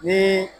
Ni